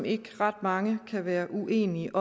ikke ret mange kan være uenige